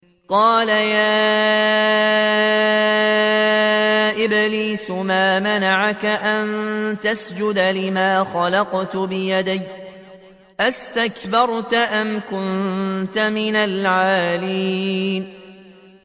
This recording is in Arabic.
قَالَ يَا إِبْلِيسُ مَا مَنَعَكَ أَن تَسْجُدَ لِمَا خَلَقْتُ بِيَدَيَّ ۖ أَسْتَكْبَرْتَ أَمْ كُنتَ مِنَ الْعَالِينَ